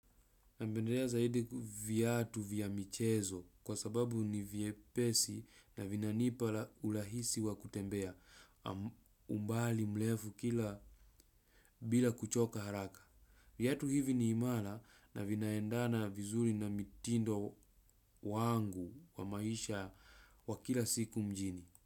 Na pendelea zaidi viatu vya michezo kwa sababu ni vyepesi na vina nipa urahisi wa kutembea umbali mrefu kila bila kuchoka haraka. Viatu hivi ni imara na vinaendana vizuri na mitindo wangu wa maisha wa kila siku mjini.